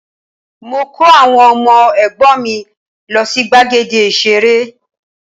Mo kó àwọn ọmọ ẹ̀gbọ́n mì lọ sí gbàgede ìṣeré